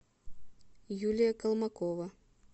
юлия колмакова